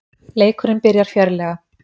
Leikurinn byrjar fjörlega